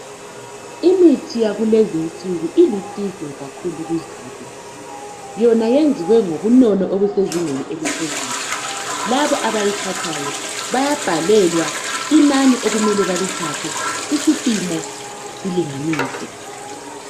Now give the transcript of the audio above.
Imithi yakulezinsuku ilusizo kakhulu kuzulu yona yenziwe ngobunono obusezingeni eliphezulu, labo abayithathayo bayabhalelwa inani okumele balithathe, isipimo lesilinganiso.